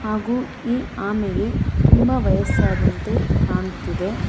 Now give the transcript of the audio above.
ಹಾಗು ಈ ಆಮೆಗೆ ತುಂಬಾ ವಯಸ್ಸಾದಂತೆ ಕಾಣ್ತಿದೆ.